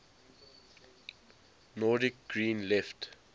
nordic green left